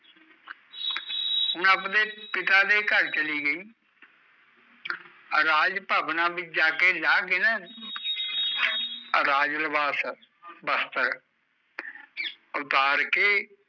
ਹੁਣ ਆਪਦੇ ਪਿਤਾ ਦੇ ਘਰ ਚਲੀ ਗਈ ਰਾਜ ਭਵਨਾਂ ਵਿੱਚ ਜਾ ਕੇ ਲਾਹ ਕੇ ਨਾ ਰਾਜ ਲੀਵਾਸ, ਬਸਤਰ ਉਤਾਰ ਕੇ